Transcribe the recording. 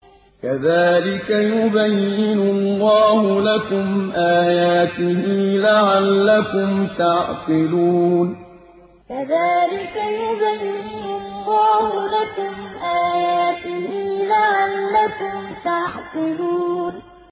كَذَٰلِكَ يُبَيِّنُ اللَّهُ لَكُمْ آيَاتِهِ لَعَلَّكُمْ تَعْقِلُونَ كَذَٰلِكَ يُبَيِّنُ اللَّهُ لَكُمْ آيَاتِهِ لَعَلَّكُمْ تَعْقِلُونَ